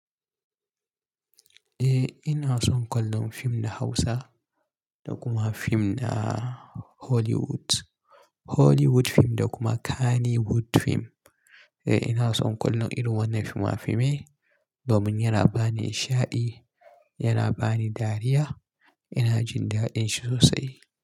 Eh ina son kallon fim na Hausa da kuma fim na Hollywood. Hollywood fim da kuma Kannywood fim. Eh ina son kunna irin wannan fima-fimai domin yana bani isha'di, yana bani dariya. Ina jin da'din shi sosai.